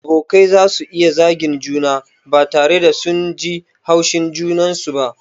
Abokai zasu iya zagin juna ba tare da sun ji haushin junansu ba.